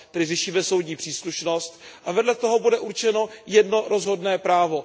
Tedy řešíme soudní příslušnost a vedle toho bude určeno jedno rozhodné právo.